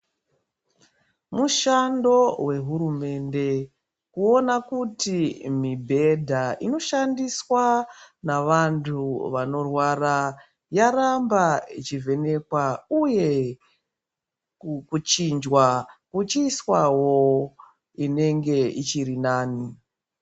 Mushando we hurumende kuona kuti mibhedha inoshandiswa na vantu vanorwara yaramba ichi vhenekwa uye kuchinjwa kuchi iswawo inenge ichiri nani.